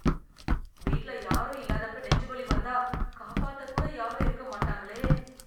வீட்ல யாரும் இல்லாதப்ப நெஞ்சுவலி வந்தா காப்பாத்த கூட யாரும் இருக்க மாட்டாங்களே.